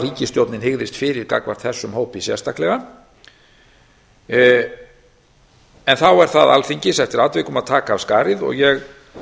ríkisstjórnin hygðist fyrir gagnvart þessum hópi sérstaklega þá er það alþingis eftir atvikum að taka af skarið ég